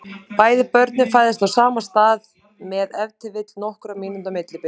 Bæði börnin fæðast á sama stað með ef til vill nokkurra mínútna millibili.